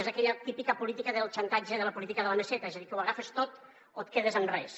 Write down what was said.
és aquella típica política del xantatge de la política de la meseta és a dir que ho agafes tot o et quedes amb res